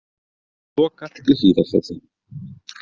Lokað í Hlíðarfjalli